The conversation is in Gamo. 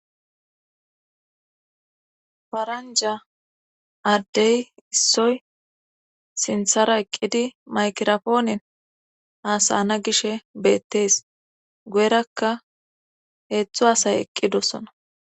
paranja addey issoy sinthara eqqidi maykirafoonen hasana gishe beettees goyerakka heetzthu hasay eqqidosona